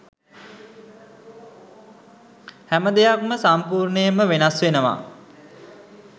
හැමදෙයක්ම සම්පූර්ණයෙන්ම වෙනස් වෙනවා.